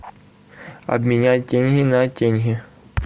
обменять тенге на тенге